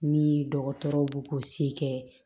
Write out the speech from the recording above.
Ni dɔgɔtɔrɔw b'u k'u se kɛ